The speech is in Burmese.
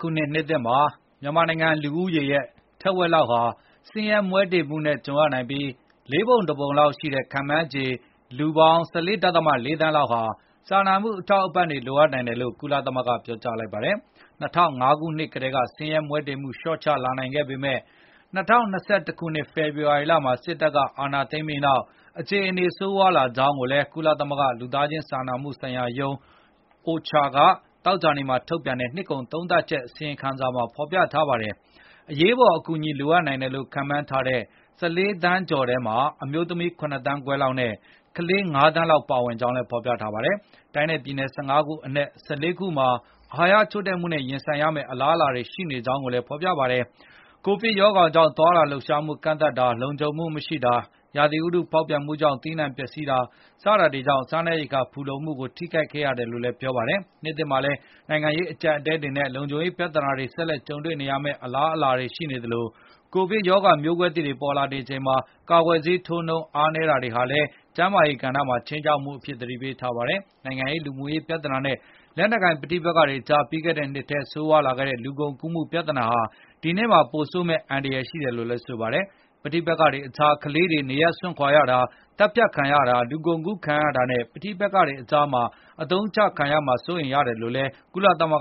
ခုနှစ်သစ်မှာ မြန်မာနိုင်ငံ လူဦးရေရဲ့ ထက်ဝက်လောက်ဟာ ဆင်းရဲမွဲတွေမှုနဲ့ ကြုံရနိုင်ပြီး၊ ၄ ပုံ ၁ ပုံလောက်ရှိတဲ့ ခန့်မှန်းချေ လူပေါင်း ၁၄ ဒဿမ ၄ သန်းလောက်ဟာလည်း စာနာမှုအထောက်အပံ့တွေ လိုအပ်နိုင်တယ်လို့ ကုလသမဂ္ဂက ပြောလိုက်ပါတယ်။ ၂၀၀၅ ခုနှစ်ကတည်းကဆင်းရဲမွဲတေမှုလျော့ကျလာခဲ့ပေမယ့် ၂၀၂၁ ခုနှစ် ဖေဖော်ဝါရီလမှာ စစ်တပ်က အာဏာသိမ်းပြီးနောက်အေ ခြအနေတွေဟာဆိုးရွားလာကြောင်းလည်း ကုလသမဂ္ဂ လူသားချင်း စာနာမှုဆိုင်ရာရုံး OCHA က သောကြာနေ့မှာ ထုတ်ပြန်လိုက်တဲ့ နှစ်ကုန်သုံးသပ်ချက် အစီရင်ခံစာမှာ ဖော်ပြခဲ့တာပါ။ အရေးအပေါ်အကူအညီ လိုအပ်နိုင်တယ်လို့ ခန့်မှန်းထားတဲ့ ၁၄ သန်းကျော်ထဲမှာ အမျိုးသမီး ၇ သန်းခွဲလောက်နဲ့ ကလေး ၅ သန်းလောက် ပါဝင်ကြောင်းလည်း ပြောပါတယ်။ တိုင်းနဲ့ပြည်နယ် ၁၅ ခုအနက် ၁၄ ခုမှာ အဟာရချို့တဲ့မှုနဲ့ ရင်ဆိုင်ရမယ့် အလားအလာတွေ ရှိနေကြောင်းလည်း ဖော်ပြခဲ့တာပါ။ ကိုဗစ်ကပ်ရောဂါကြောင့် သွားလာလှုပ်ရှားမှုတွေ ကန့်သတ်တာ၊ လုံခြုံမှုမရှိတာ၊ ရာသီဥတုဖောက်ပြန်မှုကြောင့် သီးနှံတွေ ပျက်စီးတာ စတာတွေဟာလည်း စားနပ်ရိက္ခာဖူလုံမှုကို ထိခိုက်ခဲ့ရတယ်လို့ ပြောပါတယ်။ နှစ်သစ်မှာလည်း နိုင်ငံရေးအကျပ်အတည်းတွေနဲ့ လုံခြုံရေးပြဿနာတွေ ဆက်လက်ကြုံတွေ့ရမယ့် အလားအလာတွေ ရှိနေသလို၊ ကိုဗစ်ကပ်ရောဂါ မျိုးကွဲသစ်တွေ ပေါ်ပေါက်နေချိန်မှာ ကာကွယ်ဆေးထိုးနှုန်း အားနည်းတာတွေဟာလည်း ကျန်းမာရေးကဏ္ဍမှာ ခြိမ်းခြောက်မှုအဖြစ် သတိပေးထားပါတယ်။ နိုင်ငံရေး၊ လူမှုရေး ပြဿနာတွေနဲ့ လက်နက်ကိုင် ပဋိပက္ခတွေကြား ပြီးခဲ့တဲ့နှစ်ထဲ ဆိုးရွားလာခဲ့တဲ့ လူကုန်ကူးမှု ပြဿနာတွေဟာ ဒီနှစ်မှာ ပိုဆိုးမယ့် အန္တရာယ်ရှိတယ်လို့လည်း ဆိုပါတယ်။ ပဋိပက္ခတွေကြား ကလေးတွေ နေရပ်စွန့်ခွာရတာ၊ သတ်ဖြတ်ခံရတာ၊ လူကုန်ကူးတာနဲ့ ပဋိပက္ခတွေမှာ အသုံးချခံရမှာ စိုးရိမ်ရတယ်လို့လည်း ကုလသမဂ္